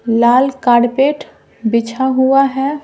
लाल carpet बिछा हुआ है।